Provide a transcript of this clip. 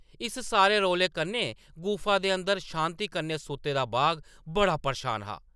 इस सारे रौले कन्नै गुफा दे अंदर शांति कन्नै सुत्ते दा बाघ बड़ा परेशान हा ।